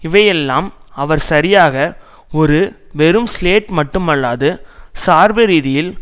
இவை எல்லாம் அவர் சரியாக ஒரு வெறும் சிலேட் மட்டுமல்லாது சார்பு ரீதியில்